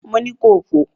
Mo ni kò fò!